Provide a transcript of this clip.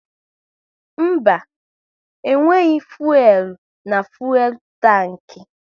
Mba, e nweghị fuelu na fuelu tanki